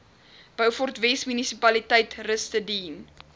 beaufortwes munisipaliteit rustedene